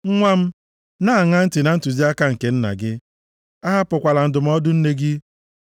Nwa m, na-aṅa ntị na ntụziaka nke nna gị ahapụkwala ndụmọdụ nne gị.